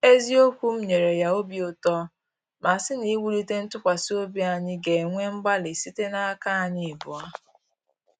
Eziokwu m nyere ya obi uto ma sị na iwulite ntụkwasị obi anyi ga-ewe mgbalị site n’aka anyị abụọ